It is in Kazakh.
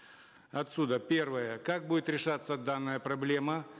отсюда первое как будет решаться данная проблема